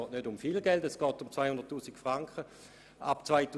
Es geht nicht um viel Geld, sondern lediglich um 200 000 Franken ab 2019.